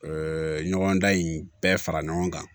ɲɔgɔn dan in bɛɛ fara ɲɔgɔn kan